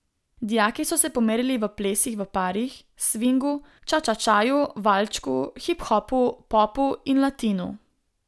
Dijaki so se pomerili v plesih v parih, svingu, čačačaju, valčku, hip hopu, popu in latinu.